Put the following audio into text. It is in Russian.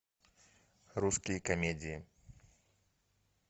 русские комедии